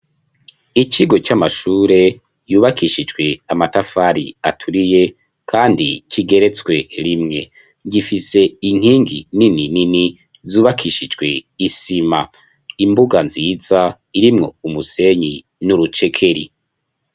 Icigo c'amashure yubakishijwe amatafari aturiye, kandi kigeretswe rimwe gifise inkingi nini nini zubakishijwe isima imbuga nziza irimwo umusenyi n'urucekeri.